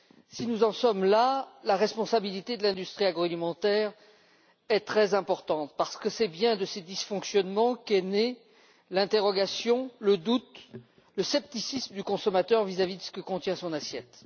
Si nous en sommes là, la responsabilité de l'industrie agroalimentaire est très importante parce que c'est bien de ses dysfonctionnements que sont nés l'interrogation, le doute, le scepticisme du consommateur vis à vis de ce que contient son assiette.